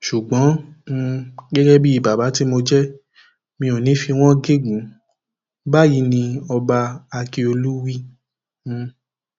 ṣùgbọn um gẹgẹ bíi bàbá tí mo jẹ mi ò ní í fi wọn gégùnún báyìí ni ọba ákíọlù wí um